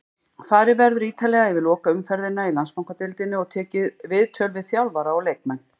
Farið verður ítarlega yfir lokaumferðina í Landsbankadeildinni og tekið viðtöl við þjálfara og leikmenn.